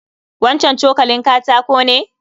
Wancan cokalin katako ne?